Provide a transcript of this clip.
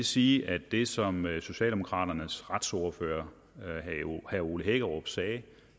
sige at det som socialdemokraternes retsordfører herre ole hækkerup sagde